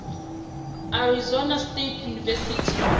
arizona state university